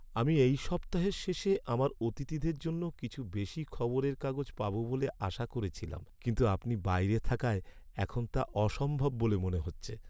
আমি এই সপ্তাহের শেষে আমার অতিথিদের জন্য কিছু বেশি খবরের কাগজ পাব বলে আশা করছিলাম, কিন্তু আপনি বাইরে থাকায় এখন তা অসম্ভব বলে মনে হচ্ছে।